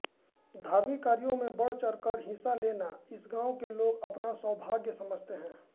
धार्मिक कार्यों में बढ़चढ़कर हिस्सा लेना इस गांव के लोग अपना सौभाग्य समझते हैं